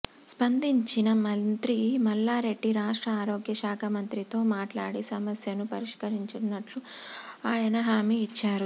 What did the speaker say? స్పందించిన మంత్రి మల్లారెడ్డి రాష్ట్ర ఆరోగ్య శాఖ మంత్రితో మాట్లాడి సమస్యను పరిష్కరించనున్నట్లు ఆయన హామీ ఇచ్చారు